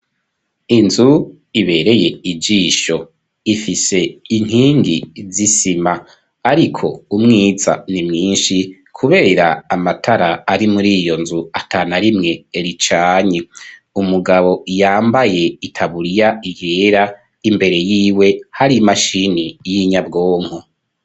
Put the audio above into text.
Inzu ibereye ijisho ifise inkingi zisima ariko umwiza ni mwinshi kubera amatara ari muri iyo nzu ata narimwe ricanye, umugabo yambaye itaburiya yera imbere y'iwe hari imashini nyabwonko.